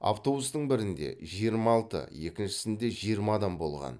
автобустың бірінде жиырма алты екіншісінде жиырма адам болған